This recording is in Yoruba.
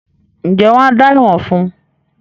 ǹjẹ́ wọn á “ dá ẹ̀wọ̀n” fún.?